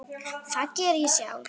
Það geri ég sjálf.